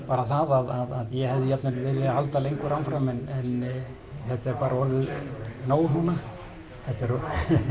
bara það að ég hefði jafnvel viljað halda lengur áfram en þetta er bara orðið nóg núna það hefur